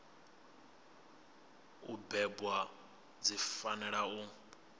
u bebwa dzi fanela u